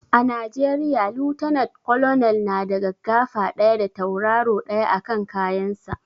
A najeriya lieutenant colonel na da gaggafa ɗaya da tauraro ɗaya a kan kayan sa